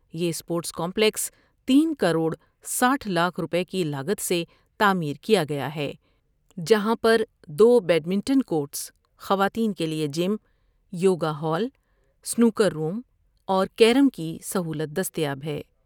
یہ sports complex تین کروڑ ساٹھ لاکھ روپے کی لاگت سے تعمیر کیا گیا ہے جہاں پر دو بیڈمنٹن کورٹس ، خواتین کے لئے gym, yoga hall, snooker room اور کیرم کی سہولت دستیاب ہے ۔